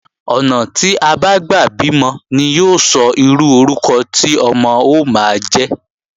Ọ̀nà tí a bá gbà bímọ ni yóò sọ irú orúkọ tí ọmọ ó máa jẹ́